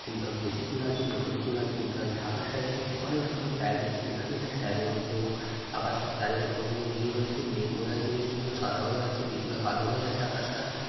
কোনটাই বেশি চূড়া আছে কোনটা ছোট চূড়া আছে। কোনটা ঢাকা স্টাইল আছে এবং রকমের স্টাইল রয়েছে। কেদারনাথ স্টাইলে রয়েছে এবং আকাশের চারিপাশে কতগুলো নীল রয়েছে। বেশ সুন্দর সাদা হয়ে আছে কিছুটা কালো হয়ে আছে আকাশ টা ।